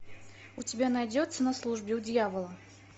у тебя найдется на службе у дьявола